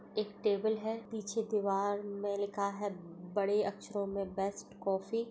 एक टेबल है पीछे दीवार में लिखा है बड़े अक्षरों में बेस्ट काफी --